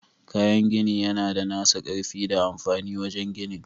Kayan gini yana da nasa ƙarfi da amfani wajen ginin.